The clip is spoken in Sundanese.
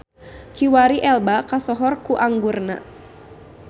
Kiwari Elba kasohor ku anggurna.